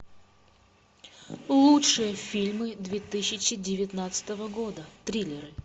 лучшие фильмы две тысячи девятнадцатого года триллеры